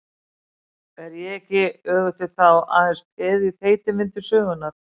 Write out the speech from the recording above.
Er ég ekki, öfugt við þá, aðeins peð í þeytivindu sögunnar?